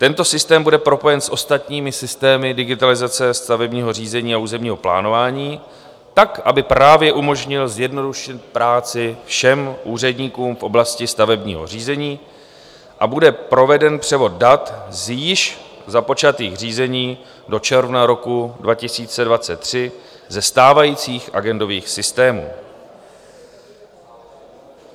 Tento systém bude propojen s ostatními systémy digitalizace stavebního řízení a územního plánování tak, aby právě umožnil zjednodušit práci všem úředníkům v oblasti stavebního řízení, a bude proveden převod dat z již započatých řízení do června roku 2023 ze stávajících agendových systémů.